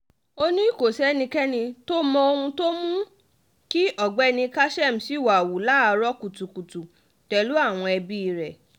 ó ní kò sẹ́nìkankan tó mọ ohun tó mú kí ọ̀gbẹ́ni kassem ṣìwà-hu láàárọ̀ kùtùkùtù pẹ̀lú àwọn ẹbí rẹ̀